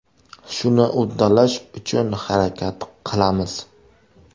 Shuni uddalash uchun harakat qilamiz.